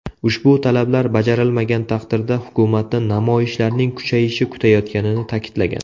Ushbu talablar bajarilmagan taqdirda hukumatni namoyishlarning kuchayishi kutayotganini ta’kidlagan.